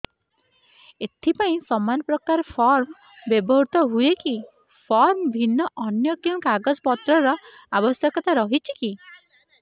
ଏଥିପାଇଁ ସମାନପ୍ରକାର ଫର୍ମ ବ୍ୟବହୃତ ହୂଏକି ଫର୍ମ ଭିନ୍ନ ଅନ୍ୟ କେଉଁ କାଗଜପତ୍ରର ଆବଶ୍ୟକତା ରହିଛିକି